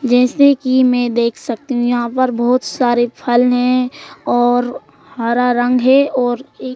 जैसे कि मैं देख सकती हूं यहां पर बहुत सारे फल हैं और हरा रंग है और ये--